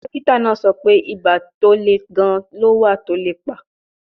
Dókítà náà sọ pé ibà tó le gan-an ló wà tó lè pa